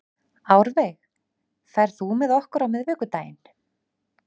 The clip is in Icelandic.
Árveig, ferð þú með okkur á miðvikudaginn?